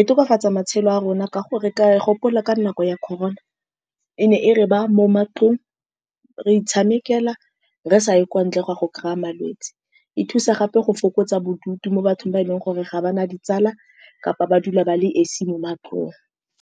E tokafatsa matshelo a rona ka go reka. Ke a gopola, ka nako ya Corona e ne e re baya mo matlong, re itshamekela re sa ye kwa ntle goya go kry-a malwetsi. E thusa gape go fokotsa bodutu mo bathong ba e leng gore ga ba na ditsala, kapa ba dula ba le esi mo matlong.